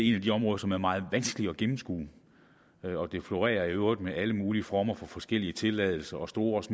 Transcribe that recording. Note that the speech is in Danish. et af de områder som er meget vanskelige at gennemskue og der florerer i øvrigt alle mulige former for forskellige tilladelser og stort